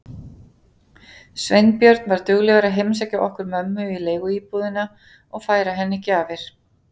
Sveinbjörn var duglegur að heimsækja okkur mömmu í leiguíbúðina og færa henni gjafir.